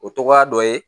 O tɔgɔya dɔ ye